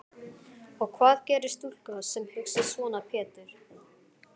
Og hvað gerir stúlka sem hugsar svona Pétur?